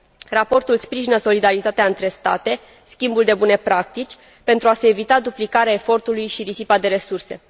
Raportul sprijină solidaritatea între state, schimbul de bune practici, pentru a se evita duplicarea efortului și risipa de resurse.